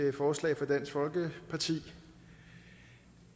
et forslag fra dansk folkeparti